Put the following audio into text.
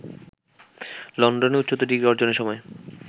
লন্ডনে উচ্চতর ডিগ্রি অর্জনের সময়